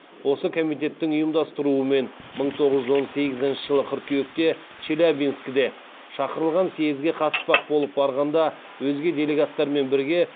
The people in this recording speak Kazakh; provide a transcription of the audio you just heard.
осы комитеттің ұйымдастыруымен мың тоғыз жүз он сегізінші жылы қыркүйекте челябинскіде шақырылған съезге қатыспақ болып барғанында өзге делегаттармен бірге